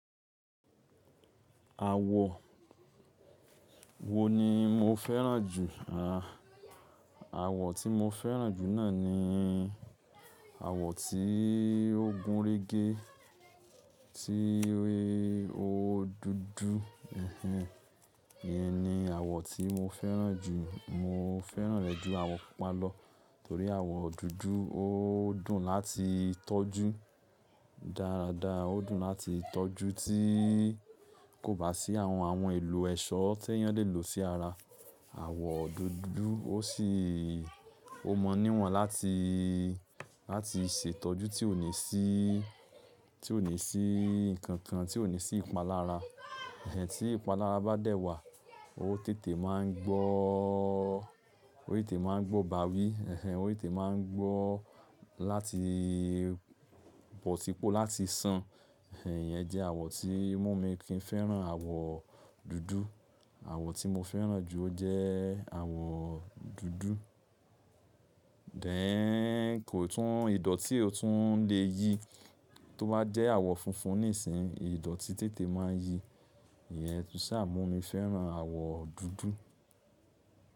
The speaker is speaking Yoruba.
Àwọ̀ wo ni mo fẹ́ràn jù? Àà, àwọ̀ tí mo fẹ́ràn jù náà ni àwọ̀ tí ó gúnrégé, tí ó dúdú. Ẹ̀hẹn, ìyẹn ni àwọ̀ tí mo fẹ́ràn jù. Mo fẹ́ràn rẹ̀ ju àwọ̀ pupa lọ torí àwọ̀ dúdú ó dùn láti tọ́jú dáadáa. Ó dùn láti tọ́jú tí kò bá sí àwọn, àwọn ìlò ẹ̀ṣọ́ tí èèyàn lè lò sí ara. Àwọ̀ dúdú ó sì, ó mọ níwọ̀n láti, láti ṣètọ́jú tí ò ní sí, tí ò ní sí nǹkan kan, tí ò ní sí ìpalára. Ẹ̀hẹn, tí ìpalára bá dẹ̀ wà, ó tètè máa ń gbọ́, ó tètè máa ń gbọ́ bàwí. Ẹ̀hẹn, ó tètè máa ń gbọ́ láti pọ̀tipọ̀ láti san. Ẹ̀hẹn, ìyẹn jẹ́ àwọ̀ tí mo mi kí n fẹ́ràn, àwọ̀ dúdú. Àwọ̀ tí mo fẹ́ràn jù ó jẹ́ àwọ̀ dúdú. Dẹ̀ kò tún un, ìdọ̀ọ́tí ò tún un lè yi tó bá jẹ́ àwọ̀ funfun níìsín, ìdọ̀tí tètè máa yi. Ìyẹn tún sà mu mi fẹ́ràn àwọ̀ dúdú.